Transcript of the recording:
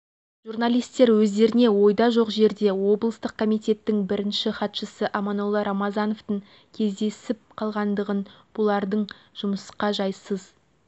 журналистер өздеріне ойда жоқ жерде облыстық комитеттің бірінші хатшысы аманолла рамазановтың кездесіп қалғандығын бұлардың жұмысқа жайсыз